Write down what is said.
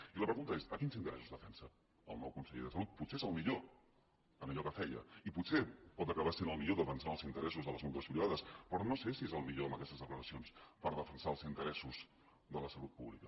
i la pregunta és quins interessos defensa el nou conseller de salut potser és el millor en allò que feia i potser pot acabar sent el millor defensant els interessos de les mútues privades però no sé si és el millor amb aquestes declaracions per defensar els interessos de la salut pública